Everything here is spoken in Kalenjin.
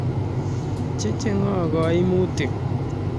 Chechngko koimutik